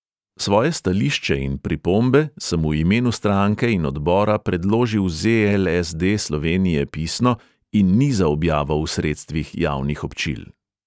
Svoje stališče in pripombe sem v imenu stranke in odbora predložil ze|el|es|de slovenije pisno in ni za objavo v sredstvih javnih občil.